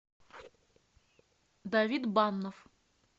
давид баннов